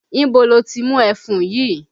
Ibo lo ti mú ẹfun yìí?